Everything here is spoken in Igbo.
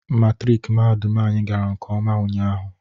Matrik mahadum anyị gara nkeọma ụnyaahụ